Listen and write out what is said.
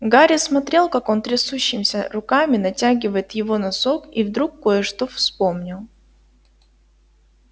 гарри смотрел как он трясущимися руками натягивает его носок и вдруг кое-что вспомнил